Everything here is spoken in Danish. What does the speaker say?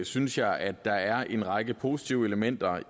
synes jeg at der er en række positive elementer